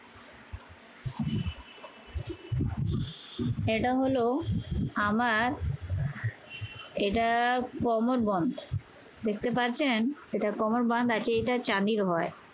এটা হল আমার এটা কোমর বন্ধ। দেখতে পাচ্ছেন এটা কোমর বন্ধ আছে। এটা চাবির হয়।